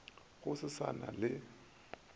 go se sa na le